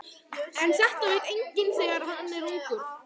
En þetta veit enginn þegar hann er ungur.